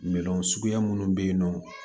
Minɛn suguya minnu bɛ yen nɔ